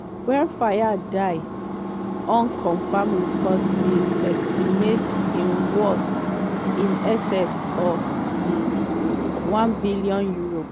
wen fayed die unconfirmed reports bin estimate im worth in excess of um £1bn.